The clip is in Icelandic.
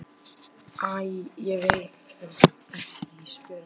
Æ ég veit það ekki Ísbjörg, segir hún.